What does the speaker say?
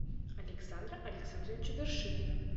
александра александровича вершинина